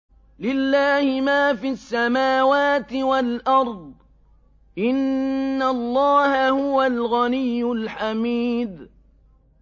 لِلَّهِ مَا فِي السَّمَاوَاتِ وَالْأَرْضِ ۚ إِنَّ اللَّهَ هُوَ الْغَنِيُّ الْحَمِيدُ